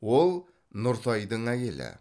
ол нұртайдың әйелі